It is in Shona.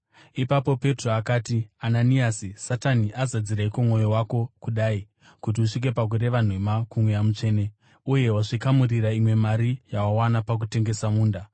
Ipapo Petro akati, “Ananiasi, Satani azadzireiko mwoyo wako kudai, kuti usvike pakureva nhema kuMweya Mutsvene uye wazvikamurira imwe mari yawawana pakutengesa munda?